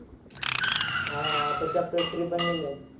ते पदार्थ आम्हाला खायला लावलेले म्हणजे जास्त करू ये ना fish मध्ये जास्त protein असत